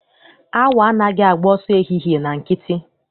Awọ anaghị agba ọsọ ehihie na nkịtị.